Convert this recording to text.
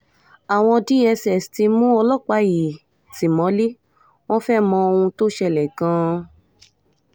àwọn dss ti mú ọlọ́pàá yìí ti mọ́lẹ̀ wọn fẹ́ẹ́ mọ ohun tó ṣẹlẹ̀ gan-an